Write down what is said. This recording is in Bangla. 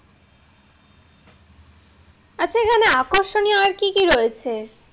আচ্ছা এখানে আকর্ষণীয় আর কি কি রয়েছে?